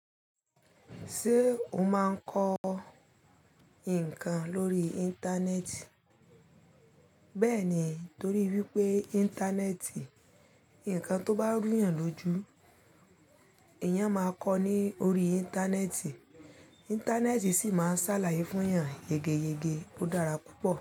Ṣe o máa n kọ ńǹkan lórí Íńtánẹ́ẹ̀tì? Bẹẹni torí wípé Íńtánẹ́ẹ̀tì, ńǹkan to bá rù yàn lójú, èèyàn máa kọ ní orí Íńtánẹ́ẹ̀tì. Íńtánẹ́ẹ̀tì sì máa ń sálaye fún èèyàn yegeyege, ó dára púpọ̀